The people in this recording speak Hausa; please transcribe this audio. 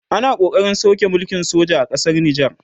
ana ƙoƙarin sauke mulkin soja a ƙasar nijar